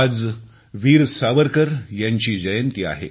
आज वीर सावरकर यांची जयंती आहे